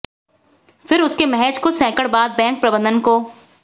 फिर उसके महज कुछ सैंकड़ बाद बैंक प्रबंधन को